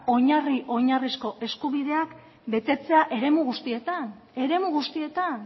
oinarri oinarrizko eskubideak betetzea eremu guztietan eremu guztietan